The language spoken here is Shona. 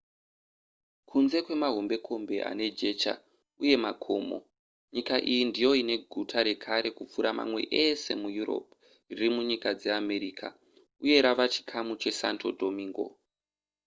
kunze kwemahombekombe ane jecha uye makomo nyika iyi ndiyo ine guta rekare kupfuura mamwe ese mueurope riri munyika dzeamerica uye rava chikamu chesanto domingo